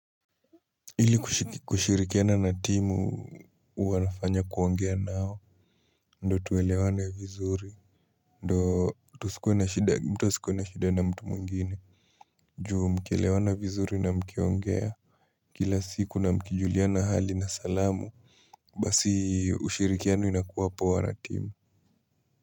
Ili kushirikiana na timu wanafanya kuongea nao ndo tuwelewane vizuri ndo mtu asikue na shida na mtu mwingine juu mkielewana vizuri na mkiongea kila siku na mkijuliana hali na salamu basi ushirikiano inakuwa poa na timu.